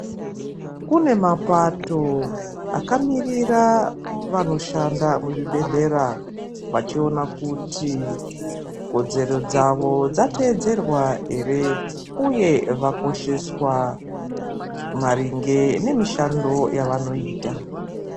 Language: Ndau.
Kune mapato akamirira vanoshanda muzvibhedhlera vachiona kuti kodzero dzavo dzatedzerwa ere, uye vakosheswa maringe nemishando yavanoita.